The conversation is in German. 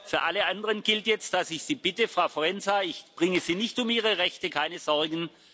Für alle anderen gilt jetzt, dass ich sie bitte Frau Forenza, ich bringe Sie nicht um Ihre Rechte, keine Sorgen.